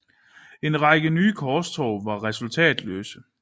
En række nye korstog var resultatløse